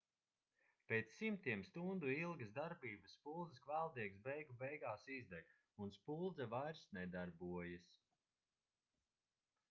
pēc simtiem stundu ilgas darbības spuldzes kvēldiegs beigu beigās izdeg un spuldze vairs nedarbojas